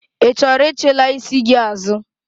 Ị chọrọ ichilaa isi gị azụ?